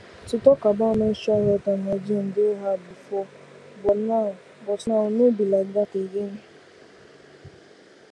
to talk about menstrual health and hygiene dey hard before but now before but now no be like that again